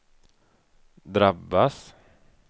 drabbas